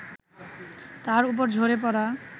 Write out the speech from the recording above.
তার ওপর ঝরে পড়া